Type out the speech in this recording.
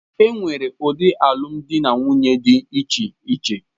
E nwere ụdị alụmdi na nwunye dị iche iche